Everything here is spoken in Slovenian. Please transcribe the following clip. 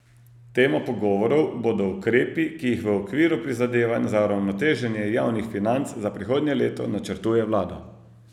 Tema pogovorov bodo ukrepi, ki jih v okviru prizadevanj za uravnoteženje javnih financ za prihodnje leto načrtuje vlada.